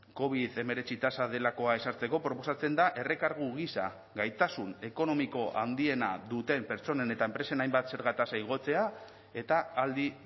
covid hemeretzi tasa delakoa ezartzeko proposatzen da errekargu gisa gaitasun ekonomiko handiena duten pertsonen eta enpresen hainbat zerga tasa igotzea eta aldi